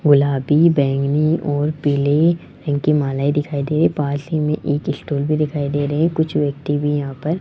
गुलाबी बैंगनी और पीले रंग की मालाएं दिखाई दे पास ही में एक स्टूल भी दिखाई दे रहे कुछ व्यक्ति भी यहां पर --